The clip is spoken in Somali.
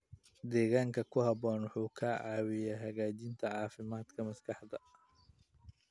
Deegaan ku habboon wuxuu ka caawiyaa hagaajinta caafimaadka maskaxda.